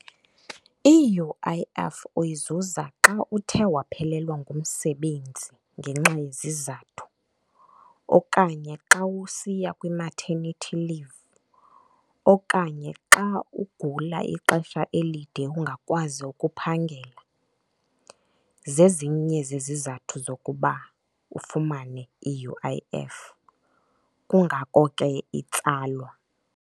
I-U_I_F uyizuza xa uthe waphelelwa ngumsebenzi ngenxa yezizathu okanye xa usiya kwi-maternity leave, okanye xa ugula ixesha elide ungakwazi ukuphangela. Zezinye zezizathu zokuba ufumane i-U_I_F, kungako ke itsalwa.